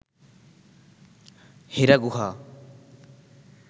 হেরা গুহা